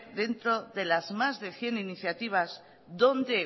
dentro de las más de cien iniciativas dónde